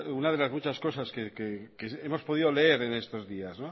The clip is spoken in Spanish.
una de las muchas cosas que hemos podido leer en estos días